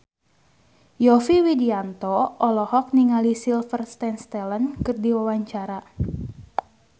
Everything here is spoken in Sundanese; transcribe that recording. Yovie Widianto olohok ningali Sylvester Stallone keur diwawancara